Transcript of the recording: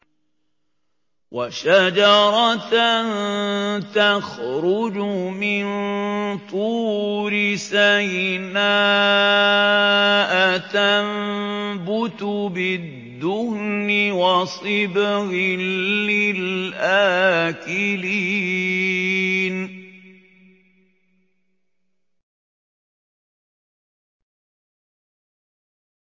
وَشَجَرَةً تَخْرُجُ مِن طُورِ سَيْنَاءَ تَنبُتُ بِالدُّهْنِ وَصِبْغٍ لِّلْآكِلِينَ